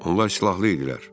Onlar silahlı idilər.